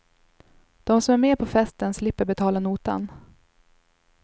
De som är med på festen slipper betala notan.